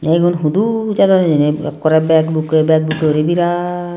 tey igun hudu jadon heni ekkorey bag bukkey bag bukkey yuri biraat.